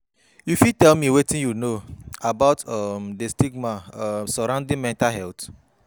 You fit tell me wetin you know about um di stigma um surrounding mental health?